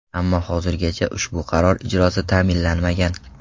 Ammo hozirgacha ushbu qaror ijrosi ta’minlanmagan.